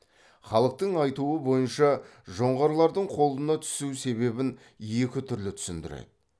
халықтың айтуы бойынша жоңғарлардың қолына түсу себебін екі түрлі түсіндіреді